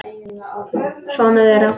Sonur þeirra.